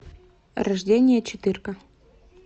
рождение четырка